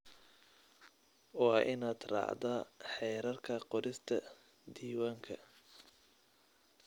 Waa inaad raacdaa xeerarka qorista diiwaanka.